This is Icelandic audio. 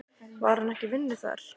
Var hann ekki í vinnu þar?